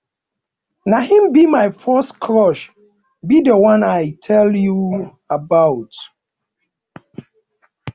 na him be my first crush be the one i tell you about